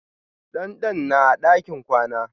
Dandan na a ɗakin kwana.